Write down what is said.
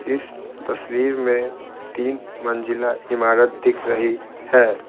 इस तस्वीर में तीन मंजिला इमारत दिख रही है।